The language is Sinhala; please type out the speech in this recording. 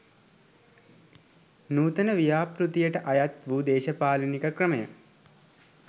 නූතන ව්‍යාපෘතියට අයත් වූ දේශපාලනික ක්‍රමය